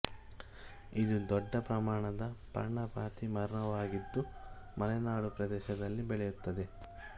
ಇದು ದೊಡ್ಡ ಪ್ರಮಾಣದ ಪರ್ಣಪಾತಿ ಮರವಾಗಿದ್ದು ಮಲೆನಾಡು ಪ್ರದೇಶದಲ್ಲಿ ಬೆಳೆಯುತ್ತದೆ